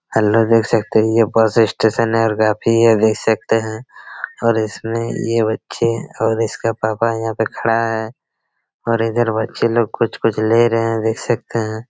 Hello देख सकते है ये बस स्टेशन है और यह काफी देख सकते है और इसमें ये बच्चे और इसके पापा यहाँ पे खड़ा है और इधर बच्चे लोग कुछ-कुछ ले रहे है देख सकते हैं।